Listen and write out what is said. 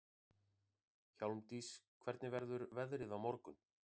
Hjálmdís, hvernig verður veðrið á morgun?